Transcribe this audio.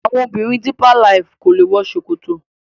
àwọn obìrin deeper life kọ lẹ wò ṣòkòtò